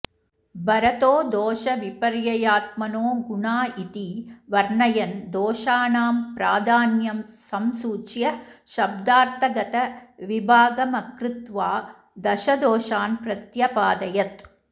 भरतो दोष विपर्ययात्मानो गुणा इति वर्णयन् दोषाणां प्राधान्यं संसूच्य शब्दार्थगत विभागमकृत्वा दशदोषान् प्रत्यपादयत्